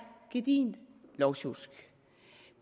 gedigent lovsjusk